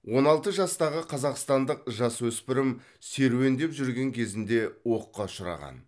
он алты жастағы қазақстандық жасөспірім серуендеп жүрген кезінде оққа ұшыраған